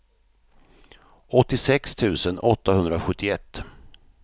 åttiosex tusen åttahundrasjuttioett